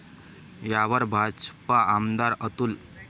यावर भाजप आमदार अतुल.